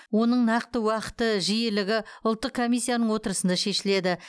оның нақты уақыты жиілігі ұлттық комиссияның отырысында шешіледі